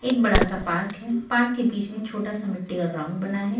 एक बड़ा सा पार्क है पार्क के बीच में छोटा सा मिट्टी का ग्राउंड बना है।